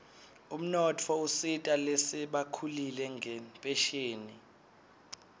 umnotfo usita lasebakhulile ngenphesheni